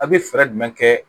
A bɛ fɛɛrɛ jumɛn kɛ